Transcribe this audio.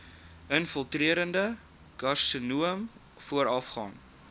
infiltrerende karsinoom voorafgaan